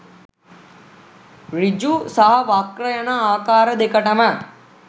සෘජු සහ වක්‍ර යන ආකාර දෙකටම